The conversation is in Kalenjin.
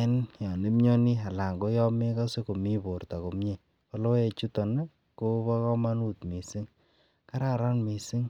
enn yooon imnyonii anan ko yomegose komii borto komyee ko logoek chuton iih kobo komonut mising kararan mising